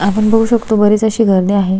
आपण बघु शकतो बरीच अशी गर्दी आहे.